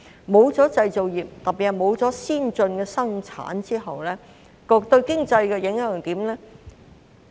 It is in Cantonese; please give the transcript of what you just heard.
沒有了製造業，特別是沒有了先進的生產後，對經濟有甚麼影響？